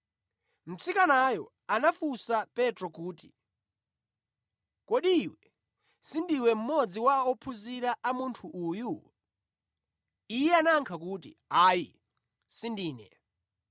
Mtsikanayo anafunsa Petro kuti, “Kodi iwe sindiwe mmodzi wa ophunzira a Munthu uyu?” Iye anayankha kuti, “Ayi, sindine.”